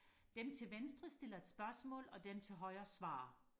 dem til venstre stiller et spørgsmål og dem til højre svarer